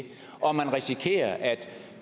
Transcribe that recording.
og man risikerer at